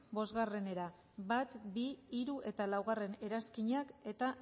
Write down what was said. bostera bat koma bi hiru eta laugarrena eranskinak eta